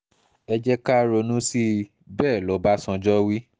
ẹ jẹ́ ká ronú sí i bẹ́ẹ̀ lọ́bàṣánjọ́ wí